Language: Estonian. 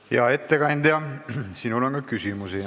Hea ettekandja, sinule on ka küsimusi.